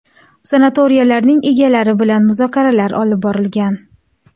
Sanatoriylarning egalari bilan muzokaralar olib borilgan.